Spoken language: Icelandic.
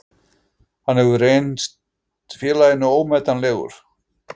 Hann hefur reynt félaginu ómetanlegur